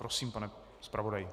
Prosím, pane zpravodaji.